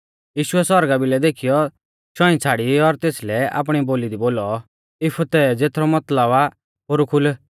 यीशुऐ सौरगा भिलै देखीयौ शौंई छ़ाड़ी और तेसलै आपणी बोली दी बोलौ इफतह ज़ेथरौ मतलब आ पोरु खुल